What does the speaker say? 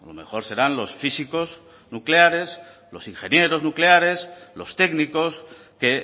mejor serán los físicos nucleares los ingenieros nucleares los técnicos que